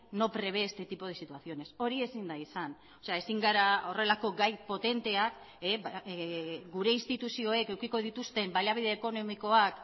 no prevé este tipo de situaciones hori ezin da izan ezin gara horrelako gai potenteak gure instituzioek edukiko dituzten baliabide ekonomikoak